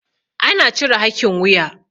ana cire hakin wuya